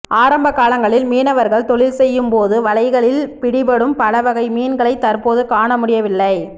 ஆரம்ப காலங்களில் மீனவர்கள் தொழில் செய்யும் போது வலைகளில் பிடிபடும் பல வகை மீன்களை தற்போது காணமுடியவில்லை